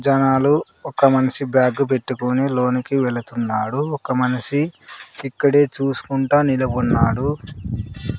జనాలు ఒక మనిషి బ్యాగు పెట్టుకొని లోనికి వెలుతున్నాడు ఒక మనిషి ఇక్కడే చూస్కుంటా నిలబడ్నాడు.